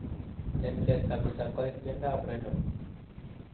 en let kabisa koit miondap renal.